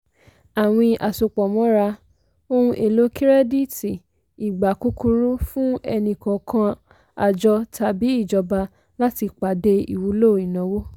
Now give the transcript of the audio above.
àwín àsopọ̀mọ́ra ohun èlò kirẹ́dítì ìgbà kúkúrú fún ẹni-kọ̀ọ̀kan àjọ tàbí ìjọba láti pàdé ìwúlò ìnáwó.